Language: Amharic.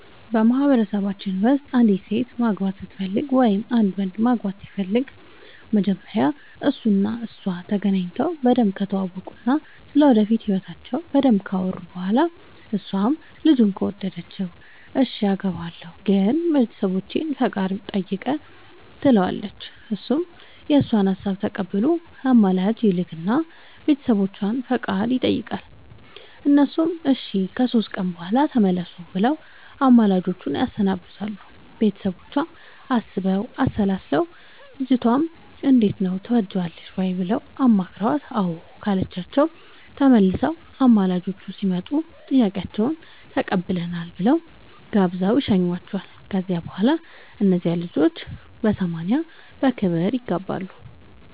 በማህበረሰባችን ውስጥ አንዲት ሴት ማግባት ስትፈልግ ወይም አንድ ወንድ ማግባት ሲፈልግ መጀመሪያ እሱ እና እሷ ተገናኝተው በደንብ ከተዋወቁ እና ስለ ወደፊት ህይወታቸው በደንብ ካወሩ በኋላ እሷም ልጁን ከወደደችው እሽ አገባሀለሁ ግን የቤተሰቦቼን ፈቃደኝነት ጠይቅ ትለዋለች እሱም የእሷን ሀሳብ ተቀብሎ አማላጅ ይልክ እና የቤተሰቦቿን ፈቃደኝነት ይጠይቃል እነሱም እሺ ከሶስት ቀን በኋላ ተመለሱ ብለው አማላጆቹን ያሰናብታሉ ቤተሰቦቿም አስበው አሠላስለው ልጅቷንም እንዴት ነው ትወጅዋለሽ ወይ ብለው አማክረዋት አዎ ካለቻቸው ተመልሰው አማላጆቹ ሲመጡ ጥያቄያችሁን ተቀብለናል ብለው ጋብዘው ይሸኙዋቸዋል ከዚያ በኋላ እነዚያ ልጆች በሰማንያ በክብር ይጋባሉ።